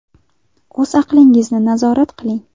O‘z aqlingizni nazorat qiling.